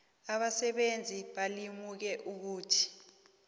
abasebenzi balimuke ukuthi